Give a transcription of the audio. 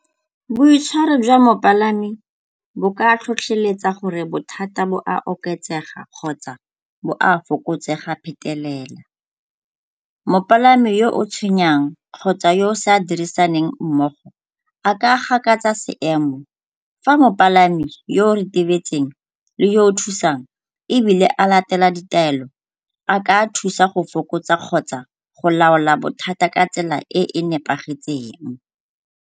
Boitshwaro jwa mopalami bo ka tlhotlheletsa gore bothata bo a oketsega kgotsa bo a fokotsega phetelela. Mopalami yo o tshwenyang kgotsa yo o sa dirisaneng mmogo a ka gakatsa seemo. Fa mopalami yo o retibetseng le yo o thusang ebile a latela ditaelo, a ka thusa go fokotsa kgotsa go laola bothata ka tsela e e nepagetseng.